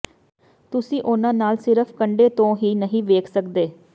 ਤੁਸੀਂ ਉਨ੍ਹਾਂ ਨਾਲ ਸਿਰਫ਼ ਕੰਢੇ ਤੋਂ ਹੀ ਨਹੀਂ ਵੇਖ ਸਕਦੇ